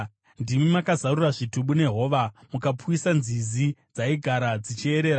Ndimi makazarura zvitubu nehova; mukapwisa nzizi dzaigara dzichierera.